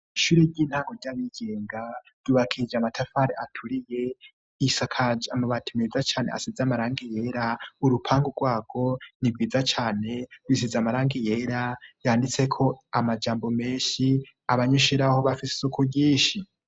Ishure ry'intango ry'abigenga ryubakije amatafari aturiye isakaje amabati meza cane asize amarangi yera urupangu rwarwo ni rwiza cane bisize amarangi yera yanditseko amajambo menshi abanyushure baho bafise isuku ryinshi